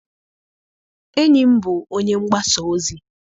Enyi m bụbu onye mgbasa ozi.